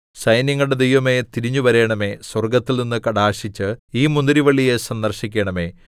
സൈന്യങ്ങളുടെ ദൈവമേ തിരിഞ്ഞുവരണമേ സ്വർഗ്ഗത്തിൽനിന്നു കടാക്ഷിച്ച് ഈ മുന്തിരിവള്ളിയെ സന്ദർശിക്കണമേ